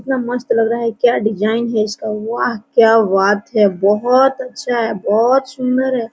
कितना मस्त लग रहा है क्या डिजाइन है इसका वाह! क्या बात है बहुत अच्छा है बहुत सुन्दर है।